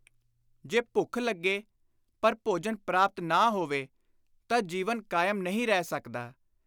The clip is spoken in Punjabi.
ਜੇ ਭੁੱਖ ਲੱਗੇ, ਪਰ ਭੋਜਨ ਪ੍ਰਾਪਤ ਨਾ ਹੋਵੇ ਤਾਂ ਜੀਵਨ ਕਾਇਮ ਨਹੀਂ ਰਹਿ ਸਕਦਾ।